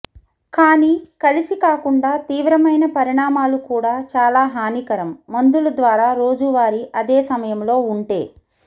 కానీ కలిసి కాకుండా తీవ్రమైన పరిణామాలు కూడా చాలా హానికరం మందులు ద్వారా రోజువారీ అదే సమయంలో ఉంటే